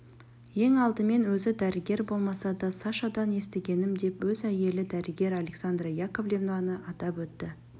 ең алдымен өзі дәрігер болмаса да сашадан естігенім деп өз әйелі дәрігер александра яковлевнаны атап өтті